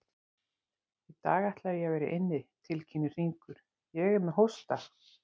Í dag ætla ég að vera inni, tilkynnir Hringur, ég er með hósta.